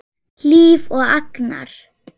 Hlíf og Agnar.